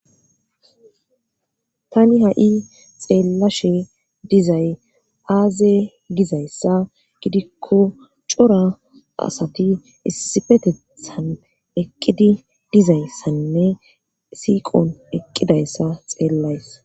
Tani ha'i xeellashe dizay aaze gizayssa gidikko cora asati issifetethan eqqidi dizayssanne siiqon eqqidayssa xeellays.